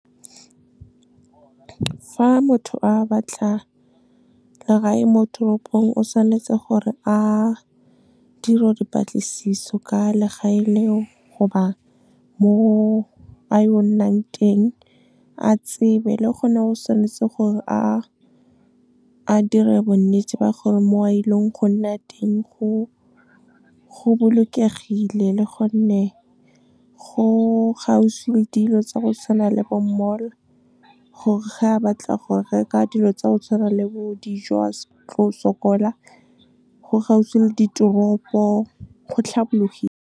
Fa motho a batla legae mo toropong, o tshwanetse gore a dire dipatlisiso ka legae leo goba mo a yo nnang teng, a tsebe. Le gone o tshwanetse gore a dire bonnete ba gore, mo a e leng go nna teng go bolokegile le go nne go kgauswi le dilo tsa go tshwana le bo mall, gore ge a batla go reka dilo tsa o tshwana le bo dijo, a se tlo sokola, go kgauswi le diteropo, go tlhabologile. Fa motho a batla legae mo toropong, o tshwanetse gore a dire dipatlisiso ka legae leo goba mo a yo nnang teng, a tsebe. Le gone o tshwanetse gore a dire bonnete ba gore, mo a e leng go nna teng go bolokegile le go nne go kgauswi le dilo tsa go tshwana le bo mall, gore ge a batla go reka dilo tsa o tshwana le bo dijo, a se tlo sokola, go kgauswi le diteropo, go tlhabologile.